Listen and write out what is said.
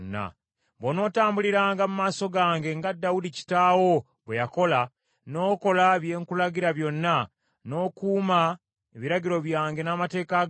“Bw’onootambuliranga mu maaso gange nga Dawudi kitaawo bwe yakola, n’okola bye nkulagira byonna, n’okuuma ebiragiro byange n’amateeka gange,